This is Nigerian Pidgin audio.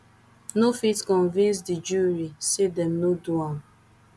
no fit convince di jury say dem no do am